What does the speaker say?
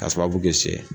Ka sababu kɛ sɛ